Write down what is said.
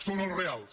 són els reals